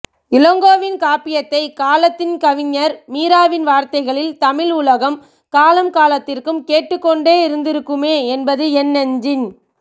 இளங்கோவின் காப்பியத்தை இக்காலத்தின் கவிஞர் மீராவின் வார்த்தைகளில் தமிழ் உலகம் காலம்காலத்திற்கும் கேட்டுக்கொண்டே இருந்திருக்குமே என்பது என் நெஞ்சின்